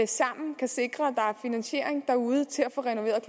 sammen kan sikre at er finansiering derude til at få renoveret